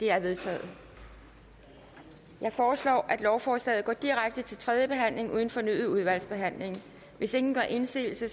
er vedtaget jeg foreslår at lovforslaget går direkte til tredje behandling uden fornyet udvalgsbehandling hvis ingen gør indsigelse